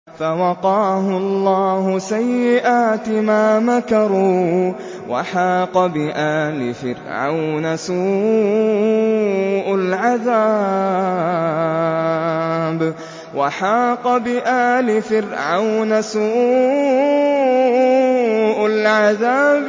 فَوَقَاهُ اللَّهُ سَيِّئَاتِ مَا مَكَرُوا ۖ وَحَاقَ بِآلِ فِرْعَوْنَ سُوءُ الْعَذَابِ